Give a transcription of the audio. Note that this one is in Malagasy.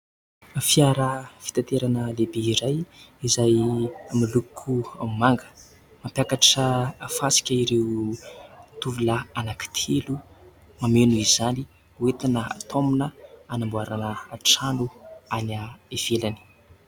Fiara fitaterana lehibe iray izay miloko manga. Mampiakatra fasika ireo tovolahy anankitelo mameno izany hoetina taomina anamboarana trano any ivelany.